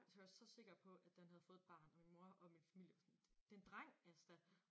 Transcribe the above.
Og så var jeg så sikker på at den havde fået et barn og min mor og min familie var sådan det en dreng Asta